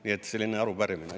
Nii et selline arupärimine.